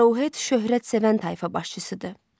Arohet şöhrətpərəst tayfa başçısıdır.